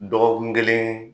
Dɔgɔkun kelen